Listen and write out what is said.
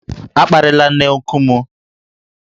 A kparịla nne nku m!